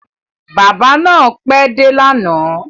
Bábà náà pẹ́ dé lánàá.